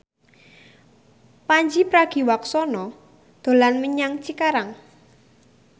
Pandji Pragiwaksono dolan menyang Cikarang